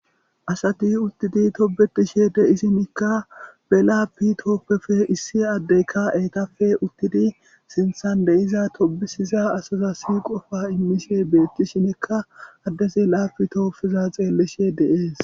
asati uttidi tobetishe de isinikka belaappi tooppefe issi addeyka etafe uttidi sinthan deiza tobisiza asaza si qofa immishe beettishinekka addesi laapi toopfeza xeellishe deees